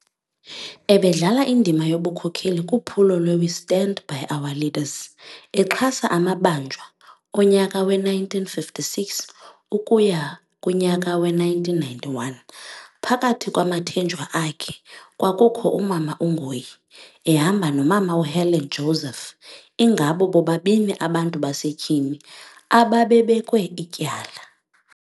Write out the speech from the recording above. Ebedlala indima yobukhokheli kuphulo lwe 'We stand by our leaders' exhasa amabanjwa onyaka we-1956 ukuya kunyaka we-1991. Phakathi kwamathenjwa akhe kwakukho umama uNgoyi ehamba nomama uHelen Joseph ingabo bobabini abantu basetyhini ababebekwe ityala.